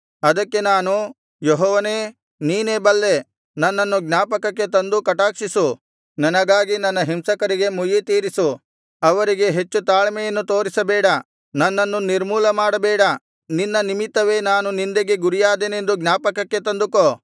ಅದಕ್ಕೆ ನಾನು ಯೆಹೋವನೇ ನೀನೇ ಬಲ್ಲೆ ನನ್ನನ್ನು ಜ್ಞಾಪಕಕ್ಕೆ ತಂದು ಕಟಾಕ್ಷಿಸು ನನಗಾಗಿ ನನ್ನ ಹಿಂಸಕರಿಗೆ ಮುಯ್ಯಿತೀರಿಸು ಅವರಿಗೆ ಹೆಚ್ಚು ತಾಳ್ಮೆಯನ್ನು ತೋರಿಸಬೇಡ ನನ್ನನ್ನು ನಿರ್ಮೂಲ ಮಾಡಬೇಡ ನಿನ್ನ ನಿಮಿತ್ತವೇ ನಾನು ನಿಂದೆಗೆ ಗುರಿಯಾದೆನೆಂದು ಜ್ಞಾಪಕಕ್ಕೆ ತಂದುಕೋ